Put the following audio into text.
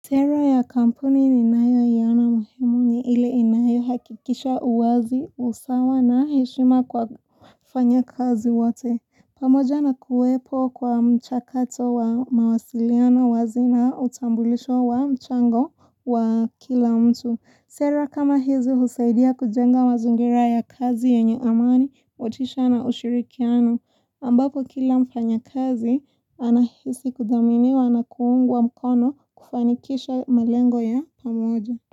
Sera ya kampuni ninayoiona muhimu ni ile inayohakikisha uwazi, usawa na heshima kwa wafanyakazi wote. Pamoja na kuwepo kwa mchakato wa mawasiliano wazi na utambulisho wa mchango wa kila mtu. Sera kama hizi husaidia kujenga mazingira ya kazi yenye amani, motisha na ushirikiano. Ambako kila mfanyakazi, anahisi kudhaminiwa na kuungwa mkono kufanikisha malengo ya pamoja.